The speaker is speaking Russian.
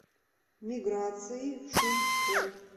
миграции шумской